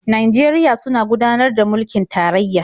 Najeriya suna gudanar da mulkin tarayya.